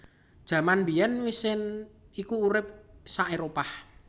Jaman mbiyèn wisent iku urip sa Éropah